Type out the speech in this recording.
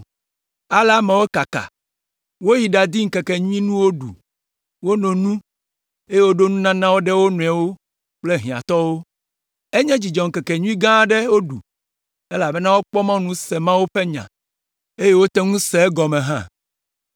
Ale ameawo kaka, woyi ɖadi ŋkekenyuinuwo ɖu, wono nu, eye woɖo nunanawo ɖe wo nɔewo kple hiãtɔwo. Enye dzidzɔŋkekenyui gã aɖe woɖu, elabena wokpɔ mɔnu se Mawu ƒe nya, eye wote ŋu se egɔme hã.